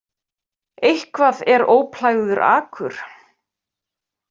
Eitthvað er óplægður akur